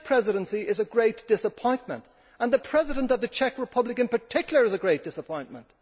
The Czech Presidency is a great disappointment, and the President of the Czech Republic in particular is a great disappointment.